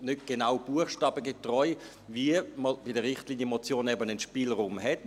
nicht genau buchstabengetreu, wie man bei der Richtlinienmotion eben einen Spielraum hat.